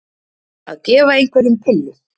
Að gefa einhverjum pillu